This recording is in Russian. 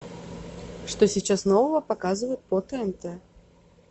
что сейчас нового показывают по тнт